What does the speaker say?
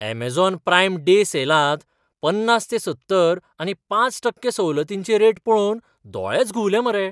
Amazon Prime Day सेलांत पन्नास ते सत्तर आनी पांच टक्के सवलतींचे रेट पळोवन दोळेच घुंवले मरे.